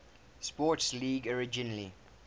sports league originally